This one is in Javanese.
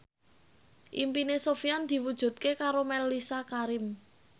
impine Sofyan diwujudke karo Mellisa Karim